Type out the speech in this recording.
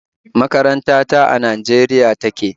Makaranta ta a Najeriya take